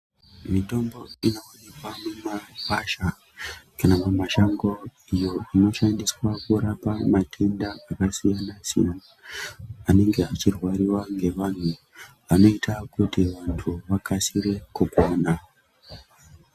Mitombo inowanikwa mumasasha kana mumashango iyo inoshandiswa kurapa matenda akasiyana siyana anenge achirwariwa nevantu anenge achiita kuti antu akasire kugwanha